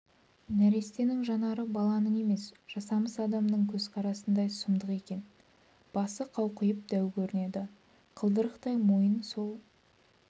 нәрестенің жанары баланың емес жасамыс адамның көзқарасындай сұмдық екен басы қауқиып дәу көрінеді қылдырықтай мойын сол